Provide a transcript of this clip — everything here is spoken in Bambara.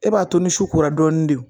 E b'a to ni su kora dɔɔni de